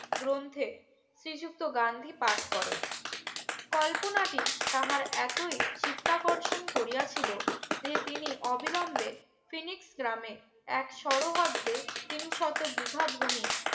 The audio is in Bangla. গ্রন্থে শ্রীযুক্ত গান্ধী পাঠ করেন কল্পনাটি তাহার এতই চিত্তাকর্ষক করিয়া ছিলো যে তিনি অবিলম্বে Phoenix গ্রামে এক সরহরদে তিনশত বিঘ ভূমি